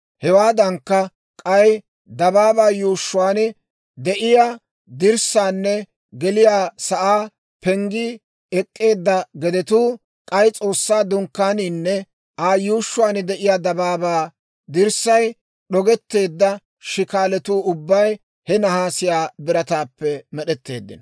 Hewaadankka, k'ay dabaabaa yuushshuwaan de'iyaa dirssaanne geliyaa sa'aa penggii ek'k'eedda gedetuu, k'ay S'oossaa Dunkkaaniinne Aa yuushshuwaan de'iyaa dabaabaa dirssay d'ogetteedda shikaalatuu ubbay he nahaasiyaa birataappe med'etteeddino.